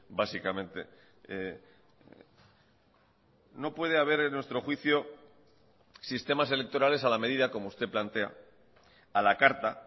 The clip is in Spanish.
básicamente no puede haber en nuestro juicio sistemas electorales a la medida como usted plantea a la carta